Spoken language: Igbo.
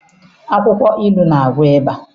Akwụkwọ ilu na-agwọ ịba.